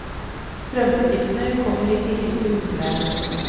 Strømutgiftene kommer i tillegg til husleien.